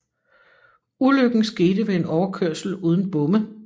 Ulykken skete ved en overkørsel uden bomme